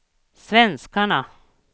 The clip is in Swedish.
svenskarna